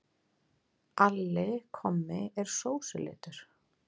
Alli kommi er sósulitur.